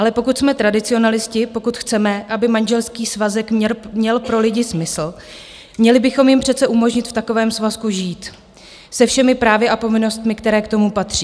Ale pokud jsme tradicionalisté, pokud chceme, aby manželský svazek měl pro lidi smysl, měli bychom jim přece umožnit v takovém svazku žít se všemi právy a povinnostmi, které k tomu patří.